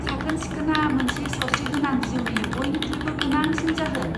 साखोन सिखोनआ मोनसे सावस्रिगोनां जिउनि बयनिख्रुइबो गोनांसिन जाहोन।